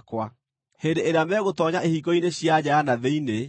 “ ‘Hĩndĩ ĩrĩa megũtoonya ihingo-inĩ cia nja ya na thĩinĩ,